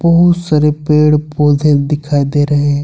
बहुत सारे पेड़ पौधे दिखाई दे रहे हैं।